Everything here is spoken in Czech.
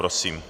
Prosím.